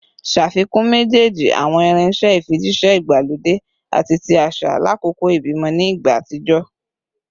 Ṣafikun mejeeji awọn irinṣẹ ifijiṣẹ igbalode ati ti aṣa lakoko ibimọ ni igba atijọ